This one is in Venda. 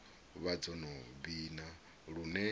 vha dzo no vhina lune